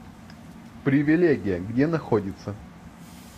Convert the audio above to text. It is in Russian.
привилегия где находится